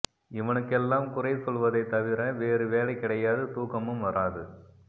இவனுக்கெல்லாம் குறை சொல்வதை தவிர வேறு வேலை கிடையாது தூக்கமும் வராது